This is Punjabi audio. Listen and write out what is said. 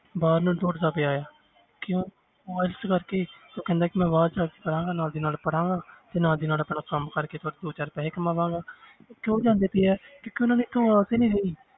ਬਾਹਰ ਨੂੰ ਦੌੜਦਾ ਪਿਆ ਆ ਕਿਉਂ ਉਹ ਇਸ ਕਰਕੇ ਉਹ ਕਹਿੰਦਾ ਕਿ ਮੈਂ ਬਾਹਰ ਜਾ ਕੇ ਕਰਾਂਗਾ ਨਾਲ ਦੀ ਨਾਲ ਪੜ੍ਹਾਂਗਾ ਤੇ ਨਾਲ ਦੀ ਨਾਲ ਆਪਣਾ ਕੰਮ ਕਰਕੇ ਦੋ ਚਾਰ ਪੈਸੇ ਕਮਾਵਾਂਗਾ ਤੇ ਕਿਉਂ ਜਾਂਦੇ ਪਏ ਹੈ ਕਿਉਂਕਿ ਉਹਨਾਂ ਦੇ ਹਾਲਾਤ ਹੀ ਨੀ ਸਹੀ।